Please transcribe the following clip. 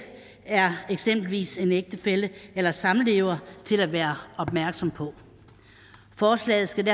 er eksempelvis en ægtefælle eller samlever til at være opmærksom på forslaget skal